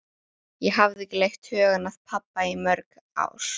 Ég hafði ekki leitt hugann að pabba í mörg ár.